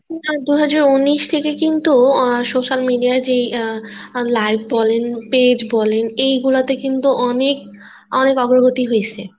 ২০১৯ থেকে কিন্তু আহ social media ই যে আহ live বলেন page এই গুলোতে অনেক অনেক অগ্রগতি হইছে